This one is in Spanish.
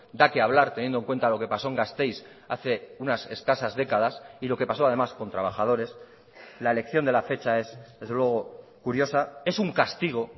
da que hablar teniendo en cuenta lo que pasó en gasteiz hace unas escasas décadas y lo que pasó además con trabajadores la elección de la fecha es desde luego curiosa es un castigo